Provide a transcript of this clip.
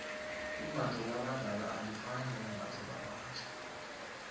imbatho labadala alifani nembatho labatjho